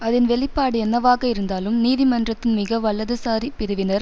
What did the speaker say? அதன் வெளிப்பாடு என்னவாக இருந்தாலும் நீதிமன்றத்தின் மிக வலது சாரி பிரிவினர்